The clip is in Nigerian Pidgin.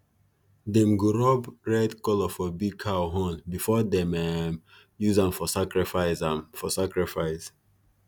them go rub red colour for big cow horn before them um use am for sacrifice am for sacrifice